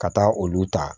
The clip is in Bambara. Ka taa olu ta